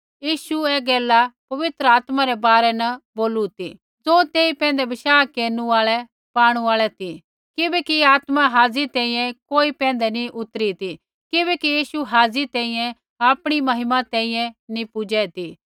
यीशुऐ ऐ गैला पवित्र आत्मा रै बारै न बोलू ती ज़ो तेई पैंधै बशाह केरनु आल़ै पाणु आल़ै ती किबैकि आत्मा हाज़ी तैंईंयैं कोई पैंधै नी उतरी ती किबैकि यीशु हाज़ी तैंईंयैं आपणी महिमा तैंईंयैं नी पूज़ै ती